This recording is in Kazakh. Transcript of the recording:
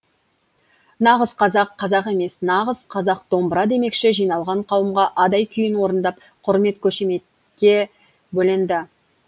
нағыз қазақ қазақ емес нағыз қазақ домбыра демекші жиналған қауымға адай күйін орындап құрмет қошеметке бөленді